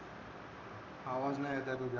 आवाज नाही येत आहे तुझा